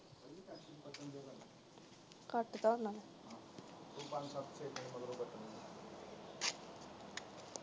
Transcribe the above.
ਘੱਟ ਕਰਨਾ।